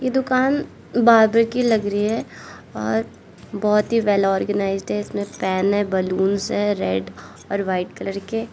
दुकान बार्बर की लग रही है और बहोत ही वेल ऑर्गेनाइज्ड है इसमें पेन है बलूंस है रेड और वाइट कलर के।